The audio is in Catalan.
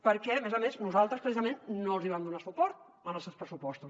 perquè a més a més nosaltres precisament no els hi vam donar suport als seus pressupostos